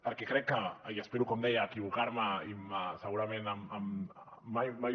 perquè crec que i espero com deia equivocar me i segurament mai